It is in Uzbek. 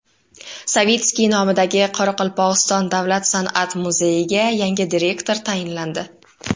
Savitskiy nomidagi Qoraqalpog‘iston davlat san’at muzeyiga yangi direktor tayinlandi.